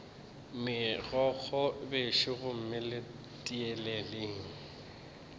megokgo bešo gomme le tieleleng